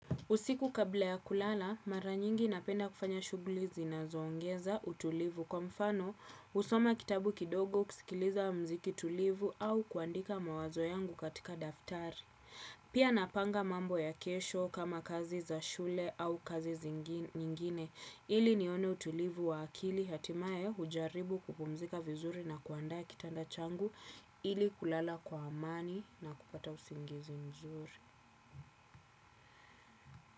Usiku kabla ya kulala, mara nyingi napenda kufanya shuguli zinazo ongeza utulivu kwa mfano husoma kitabu kidogo kusikiliza mziki tulivu au kuandika mawazo yangu katika daftari. Pia napanga mambo ya kesho kama kazi za shule au kazi zingin nyingine ili nione utulivu wa akili hatimae ujaribu kupumzika vizuri na kuandaa kitanda changu ili kulala kwa amani na kupata usingizi mzuri.